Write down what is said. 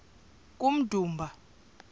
kummdumba